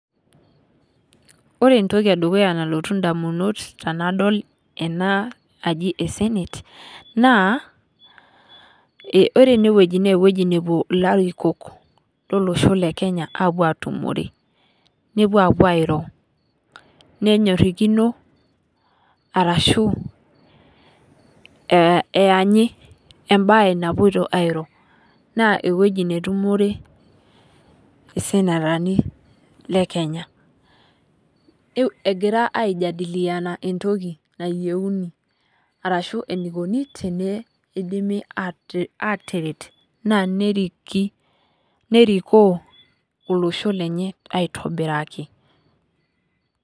Ore entoki edukuya nalotu indamunot tenadol enaa aji ee senate naa ore enewueji naa ewueji nepuo larikok olosho le Kenya apuo atumore nepuo apuo airo. Nenyorikino arashu eanyii ebae napuoito airo. Naa ewueji netumore esenetani le Kenya egira iajadikiana entoki nayouni arashu eneikini tenidimi ateret naa naneriki nerikoo olosho lenye aitobiraki.